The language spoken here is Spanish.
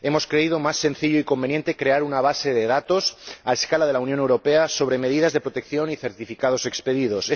Hemos creído más sencillo y conveniente crear una base de datos a escala de la Unión Europea sobre medidas de protección y certificados expedidos.